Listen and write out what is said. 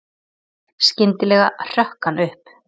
Skyndilega hrökk hann upp.